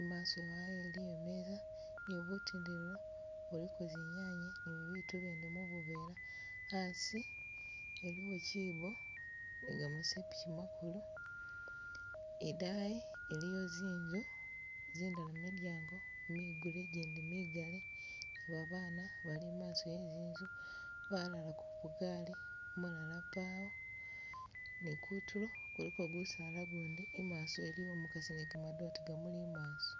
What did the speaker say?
imaso wayo eliyo imeza, nibu tindilo buliko zinyanye nibitu bindi mu buvela, asi eliwo kyibbo, nigama sepikyi magulu, idaayi iliyo zinzu zindala milyango migule zindala migale, ni babana bali imaaso we zinzu balala kugali umulala pawo nikutulo kuliko gusaala gundi, imaso iliwo umukasi ni gamadote gamuli imaaso.